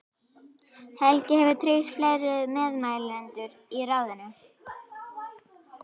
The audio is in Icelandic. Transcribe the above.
Helgi hefur tryggt fleiri meðmælendur í ráðinu.